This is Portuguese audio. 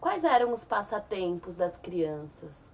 Quais eram os passatempos das crianças?